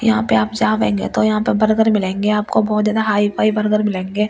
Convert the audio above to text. यहाँ पे आप जावेंगे तो यहाँ पे बर्गर मिलेंगे आपको बहुत ज्यादा हाई फाइ बर्गर मिलेंगे यो।